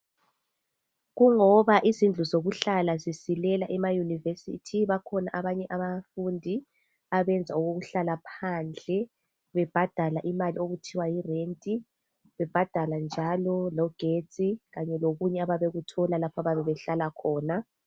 Kuloba izindlu zokuhlala zisilela ema university bakhona abanye abafundi abenza okokuhlala phandle bebhadala imali okuthiwa Yi rent bebhadala njalo logetsi lokunye abayabe bekuthola behlala khona